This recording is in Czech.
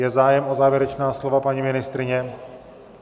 Je zájem o závěrečná slova - paní ministryně?